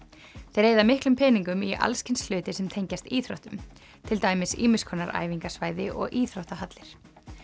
þeir eyða miklum peningum í alls kyns hluti sem tengjast íþróttum til dæmis ýmiss konar æfingasvæði og íþróttahallir